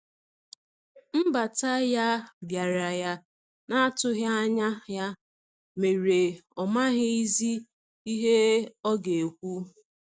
Nbata ya biara ya na atughi anya ya mere ọ maghi zi ihe ọga ekwụ.